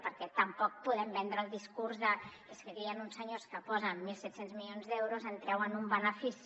perquè tampoc podem vendre el discurs de és que aquí hi han uns senyors que hi posen mil set cents milions d’euros en treuen un benefici